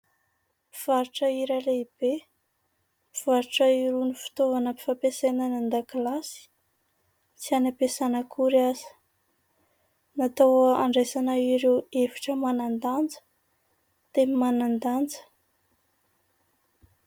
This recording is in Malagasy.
Mpivarotra lehibe, mivarotra irony fitaovana fampiasaina any andakilasy, sy any ampiasana akory aza. Natao andraisana ireo hevitra manan-danja, teny manan-danja.